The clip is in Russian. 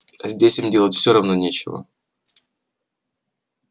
здесь им делать всё равно нечего